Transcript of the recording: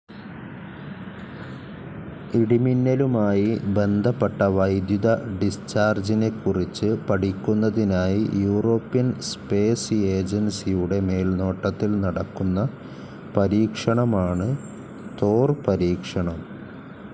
ഇടിമിന്നലുമായി ബന്ധപ്പെട്ട വൈദ്യുത ഡിസ്ചാർജിനെക്കുറിച്ച് പഠിക്കുന്നതിനായി യൂറോപ്യൻ സ്പേസ്‌ ഏജൻസിയുടെ മേൽനോട്ടത്തിൽ നടക്കുന്ന പരീക്ഷണമാണ് തോർ പരീക്ഷണം.